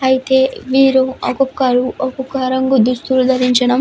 అయితే వీరి ఒక్కొక్కరు ఒక్కొక్క రంగు దుస్తులను ధరించడం --